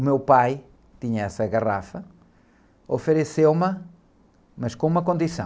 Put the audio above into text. O meu pai tinha essa garrafa, ofereceu-me, mas com uma condição.